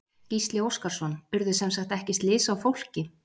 Gísli Óskarsson: Urðu semsagt ekki slys á fólki?